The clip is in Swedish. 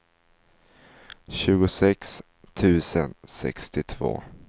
tjugosex tusen sextiotvå